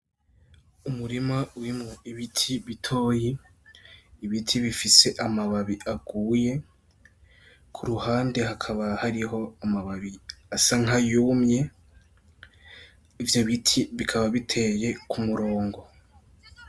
Umurima urimwo ibiti bitoyi ibiti bifise amababi aguye kuruhande hakaba hari amababi asa nkayumye ivyo biti bikaba biteye ku murongo .